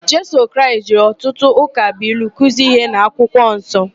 Jisọs Kraịst jiri ọtụtụ ụkabụilu kuzie íhé n'akwụkwọ nsọ.